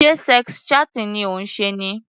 Sé sex chatting ni ó ń ṣe?